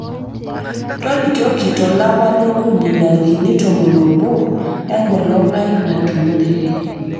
tolikioki to lapa li okuni ntarikini tomon oobo enkolong aai natumoreki